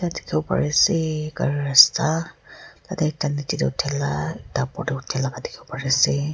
dikhiwo parease gari rasta tatae ektanichae tae thaela opor tae uthiwola dikhiase.